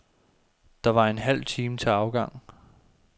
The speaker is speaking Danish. Der var en halv time til afgang.